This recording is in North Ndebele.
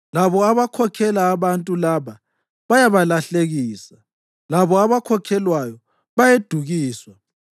Labo abakhokhela abantu laba bayabalahlekisa, labo abakhokhelwayo bayedukiswa.